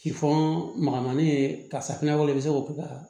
Ki fɔ makanni ye karisa fɛnɛ bɛ se k'o kɛ ka